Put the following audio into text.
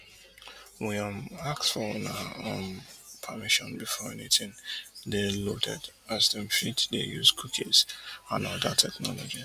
we um ask for una um permission before anytin dey loaded as dem fit dey use cookies and oda technologies